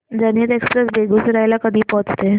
जनहित एक्सप्रेस बेगूसराई ला कधी पोहचते